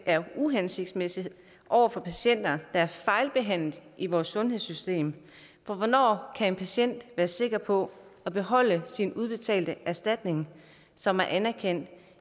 uhensigtsmæssigt over for patienter der er fejlbehandlet i vores sundhedssystemet for hvornår kan en patient være sikker på at beholde sin udbetalte erstatning som er anerkendt